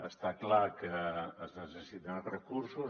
està clar que es necessiten recursos